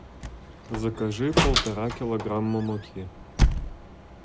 закажи полтора килограмма муки